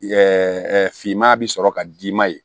finman bɛ sɔrɔ ka d'i ma ye